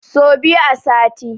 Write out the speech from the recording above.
So biyu a sati